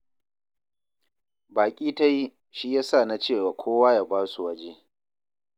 Baƙi ta yi, shi ya sa na ce wa kowa ya ba su waje